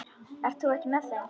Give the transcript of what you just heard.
Ert þú ekki með þeim?